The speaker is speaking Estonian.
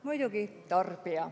Muidugi tarbija.